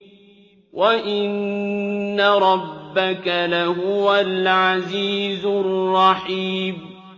وَإِنَّ رَبَّكَ لَهُوَ الْعَزِيزُ الرَّحِيمُ